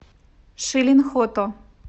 шилин хото